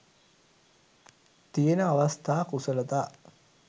තියෙන අවස්ථා කුසලතා